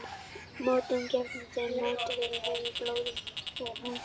Mótefni gegn þeim mótefnavaka sem við höfum ekki í blóði myndast á fyrsta aldursári.